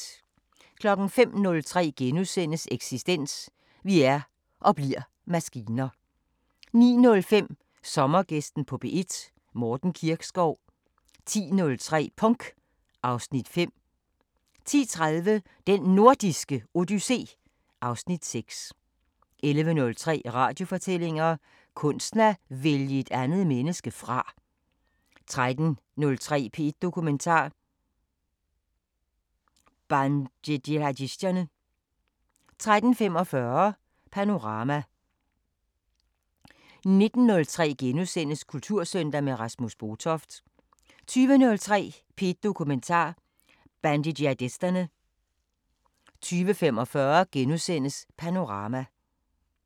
05:03: Eksistens: Vi er – og bliver – maskiner * 09:05: Sommergæsten på P1: Morten Kirkskov 10:03: Punk (Afs. 5) 10:30: Den Nordiske Odyssé (Afs. 6) 11:03: Radiofortællinger: Kunsten at vælge et andet menneske fra 13:03: P1 Dokumentar: Bandejihadisterne 13:45: Panorama 19:03: Kultursøndag – med Rasmus Botoft * 20:03: P1 Dokumentar: Bandejihadisterne 20:45: Panorama *